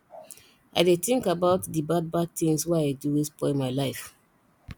i dey tink about di bad bad tins wey i do wey spoil my life